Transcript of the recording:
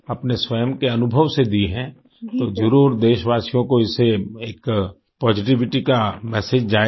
अपने स्वयं के अनुभव से दी हैं तो जरुर देशवासियों को इससे एक पॉजिटिविटी का मेसेज जाएगा